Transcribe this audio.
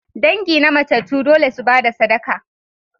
Dangi na matattu dole su ba da sadaka.